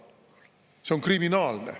See on kriminaalne.